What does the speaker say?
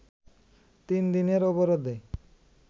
তিন দিনের অবরোধে